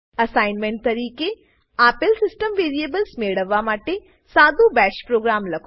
assignment તરીકે આપેલ system variables મેળવવા માટે સાદું બાશ પ્રોગ્રામ લખો